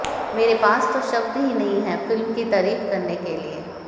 मेरे पास तो शब्द ही नहीं हैं फिल्म की तारीफ करने के लिए